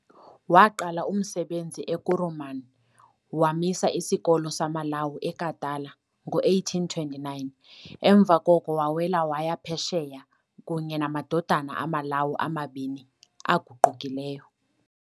Waaqala umsebenzi eKuruman, waamisa isikolo samaLawu eKatala, ngo-1829. emva koko wawela waya Phesheya kunye namadodana amaLawu amabini aguqukileyo.